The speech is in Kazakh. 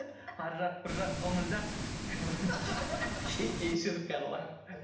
ар жақ бір жақ дональдақ но кешір карла